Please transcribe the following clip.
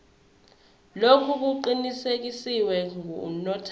lokhu kuqinisekiswe ngunotary